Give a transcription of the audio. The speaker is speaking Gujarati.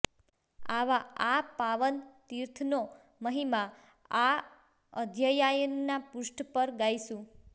આવા આ પાવન તીર્થનો મહિમા આ અધ્યાયના પૃષ્ઠ પર ગાઈશું